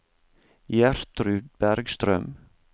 Gjertrud Bergstrøm